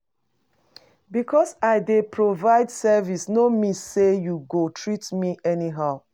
Because I dey provide service no mean sey you go treat me anyhow.